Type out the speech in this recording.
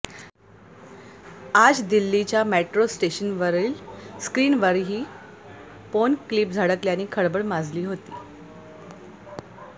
आज दिल्लीच्या मेट्रो स्टेशनवरीवल स्क्रीनवही पॉर्न क्लीप झळकल्याने खळबळ माजली होती